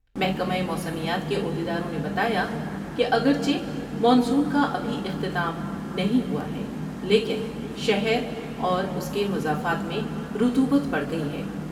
محکمہ موسمیات کے عہدیداروں نے بتایا کہ اگر چہ مانسون کا ابھی اختتام نہیں ہوا ہے لیکن شہر اور اس کے مضافات میں رطوبت بڑھ گئی ہے ۔